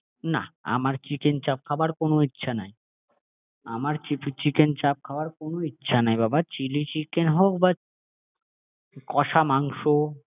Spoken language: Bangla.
যাই খাবে একই খেয়ো না আমার চিকেন চাপ খাবার কোনো ইচ্ছা নেই আমার চিকেন চাপ খাবার কোনো ইচ্ছা নেই, বাবা চিলি চিকেন হোক বা কষা মাংস